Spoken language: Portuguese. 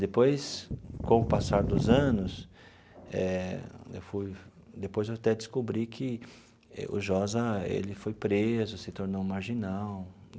Depois, com o passar dos anos, eh eu fui depois eu até descobri que o Josa ele foi preso, se tornou marginal.